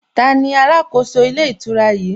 Taani alákòóso ilé ìtura yìí?